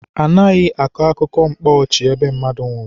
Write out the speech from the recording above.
Anaghị akọ akụkọ mkpa ọchị ebe mmadụ nwụrụ.